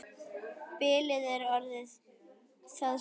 Bilið er orðið það stórt.